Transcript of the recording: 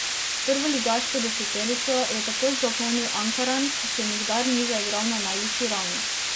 Prvoligaško deseterico je tako zapolnil Ankaran, ki še nikdar ni zaigral na najvišji ravni.